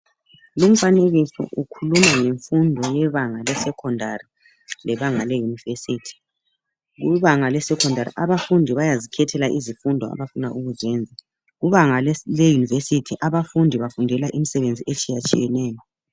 Lo umfanekiso ukhuluma ngemfundo yebanga le'secondary', lebanga eyunivesithi. Kubanga le 'secondary ', abafundi bayazikhethela izifundo abafuna ukuziyenza. Kubanga leyinivesithi abafundi bafundela imisebenzi itshiyatshiyeneyo.